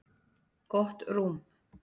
Gott rúm.